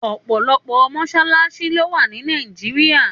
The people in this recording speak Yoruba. Òpòlòpò mọṣalaṣi ló wá ni Nàijiriá